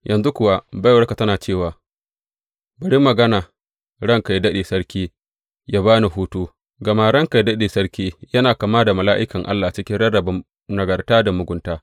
Yanzu kuwa baiwarka tana cewa, Bari magana ranka yă daɗe sarki yă ba ni hutu, gama ranka yă daɗe sarki yana kama da mala’ikan Allah cikin rarrabe nagarta da mugunta.